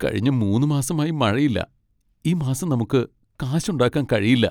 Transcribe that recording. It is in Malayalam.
കഴിഞ്ഞ മൂന്ന് മാസമായി മഴയില്ല. ഈ മാസം നമുക്ക് കാശൊണ്ടാക്കാൻ കഴിയില്ല.